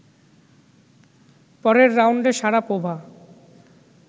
পরের রাউন্ডে শারাপোভা